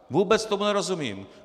Vůbec tomu nerozumím.